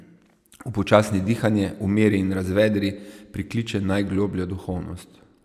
Upočasni dihanje, umiri in razvedri, prikliče najglobljo duhovnost.